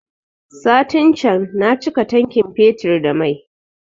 Satin can na cika tankin fetur da mai